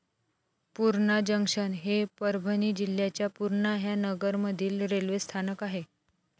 Purna junction हे परभणी जिल्ह्याच्या पुर्णा ह्या नगरमधील रेल्वे स्थानक आहे.